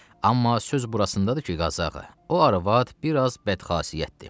Amma söz burasındadır ki, Qazı ağa, o arvad biraz bədxasiyyətdir.